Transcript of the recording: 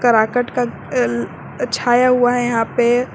पाकट का अह छाया हुआ है यहां पे।